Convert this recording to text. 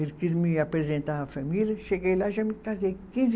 Ele quis me apresentar à família, cheguei lá e já me casei. Quinze